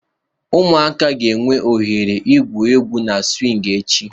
Ụmụaka ga-enwe ohere igwu egwu na swing echi.